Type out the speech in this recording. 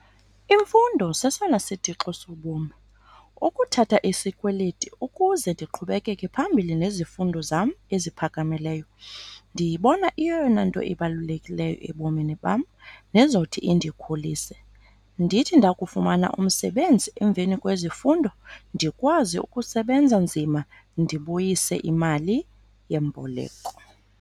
Imfundo sesona sitixo sobomi. Ukuthatha isikweleti ukuze ndiqhubeke phambili nezifundo zam eziphakamileyo ndiyibona iyeyona nto ibalulekileyo ebomini bam nezothi indikhulise, ndithi ndakufumana umsebenzi emveni kwezifundo ndikwazi ukusebenza nzima ndibuyise imali yemboleko.